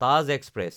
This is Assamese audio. তাজ এক্সপ্ৰেছ